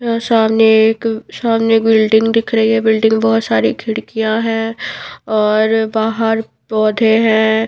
यह सामने एक सामने बिल्डिंग दिख रही है बिल्डिंग बहुत सारी खिड़कियाँ हैं और बाहर पौधे हैं।